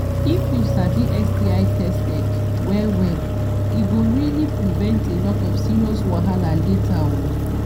if u sabi sti tested well well e go really prevent a lot of serious wahala later o